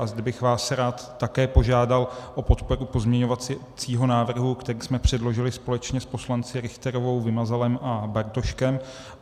A zde bych vás rád také požádal o podporu pozměňovacího návrhu, který jsme předložili společně s poslanci Richterovou, Vymazalem a Bartoškem.